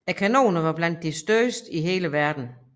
Kanonerne var blandt de største i verden